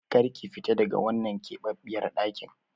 Kar ki fita daga wannan keɓaɓɓiyar ɗakin!